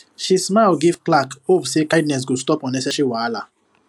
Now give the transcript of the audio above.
she smile give clerk hope say kindness go stop unnecessary wahala